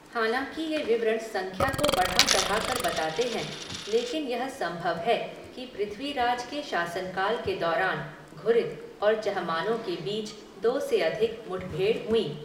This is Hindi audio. हालाँकि ये विवरण संख्या को बढ़ा चढ़ाकर बताते हैं, लेकिन यह संभव है कि पृथ्वीराज के शासनकाल के दौरान घुरिद और चहमानों के बीच दो से अधिक मुठभेड़ हुईं।